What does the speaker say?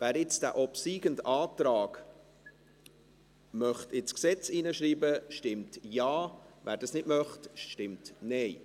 Wer jetzt diesen obsiegenden Antrag ins Gesetz schreiben möchte, stimmt Ja, wer das nicht möchte, stimmt Nein.